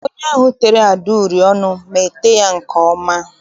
Onye ahụ tere Ada uri ọnụ ma ete ya nke ọma.